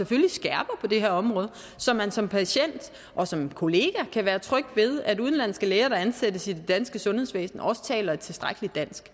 og det er her område så man som patient og som kollega kan være tryg ved at udenlandske læger der ansættes i det danske sundhedsvæsen også taler et tilstrækkeligt dansk